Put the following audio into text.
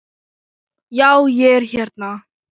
Já, ég er hérna.